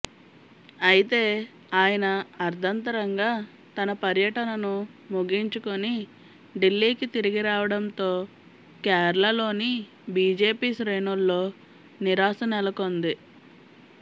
అయితే ఆయన అర్ధంతరంగా తన పర్యటనను ముగించుకుని ఢిల్లీకి తిరిగిరావడంతో కేరళలోని బిజెపి శ్రేణుల్లో నిరాశ నెలకొంది